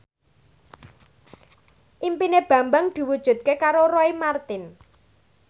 impine Bambang diwujudke karo Roy Marten